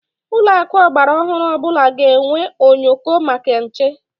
Ụlọakụ ọgbaraọhụrụ ọbụla ga-enwe onyoko maka nche.